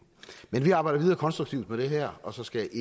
men vi arbejder konstruktivt videre med det her og så skal